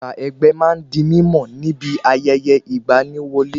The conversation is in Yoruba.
Àṣà ẹgbẹ́ ma ń di mímọ̀ níbi ayẹyẹ ìgba ni wọlé